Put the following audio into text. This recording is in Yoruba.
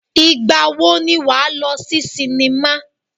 Ìgbà wo ni wà á lọ sí sinimá?